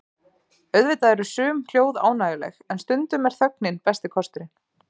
Auðvitað eru sum hljóð ánægjuleg en stundum er þögnin besti kosturinn.